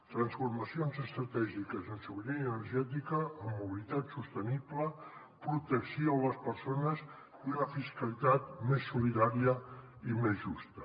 transformacions estratègiques en sobirania energètica en mobilitat sostenible protecció de les persones i una fiscalitat més solidària i més justa